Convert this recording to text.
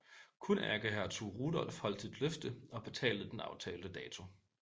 Kun ærkehertug Rudolf holdt sit løfte og betalte den aftalte dato